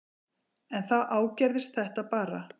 En þá ágerðist þetta bara.